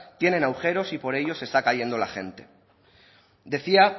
tienen agujeros y por ellos se está cayendo la gente decía